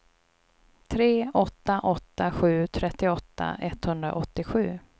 tre åtta åtta sju trettioåtta etthundraåttiosju